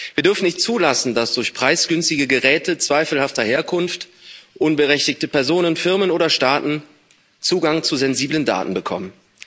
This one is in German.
Wir dürfen nicht zulassen, dass durch preisgünstige Geräte zweifelhafter Herkunft unberechtigte Personen, Firmen oder Staaten Zugang zu sensiblen Daten bekommen.